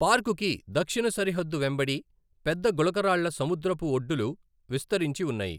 పార్కుకి దక్షిణ సరిహద్దు వెంబడి పెద్ద గులకరాళ్ళ సముద్రపు ఒడ్డులు విస్తరించి ఉన్నాయి.